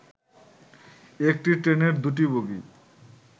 একটি ট্রেনের ২টি বগি